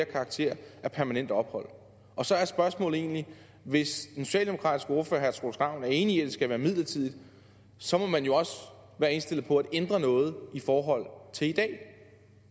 karakter af permanent ophold og så er spørgsmålet egentlig hvis den socialdemokratiske ordfører herre troels ravn er enig i at det skal være midlertidigt så må man jo også være indstillet på at ændre noget i forhold til i dag